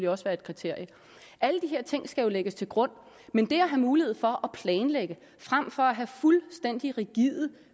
også være et kriterium alle de her ting skal jo lægges til grund men det at have mulighed for at planlægge frem for at have fuldstændig rigide